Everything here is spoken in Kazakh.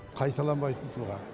қайталанбайтын тұлға